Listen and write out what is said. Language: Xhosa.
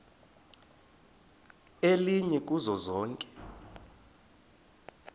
elinye kuzo zonke